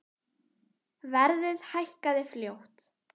Verðið hækkaði fljótt.